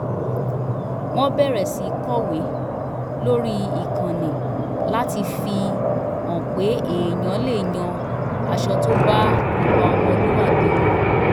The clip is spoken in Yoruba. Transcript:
wọ́n bẹ̀rẹ̀ sí kọ̀wé lórí ìkànnì láti fi hàn pé èèyàn lè yan aṣọ tó bá ìwà ọmọlúwàbí mu